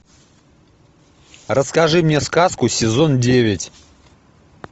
расскажи мне сказку сезон девять